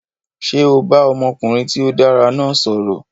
Ṣé o bá ọmọkùnrin tí ó dára náà sọ̀rọ̀?